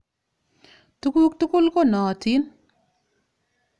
Tuguk tukul ko nootin.